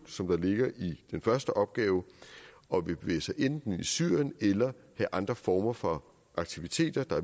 som der ligger i den første opgave og vil bevæge sig enten ind i syrien eller have andre former for aktiviteter der